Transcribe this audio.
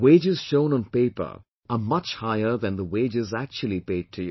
Wages shown on paper are much higher than the wages actually paid to you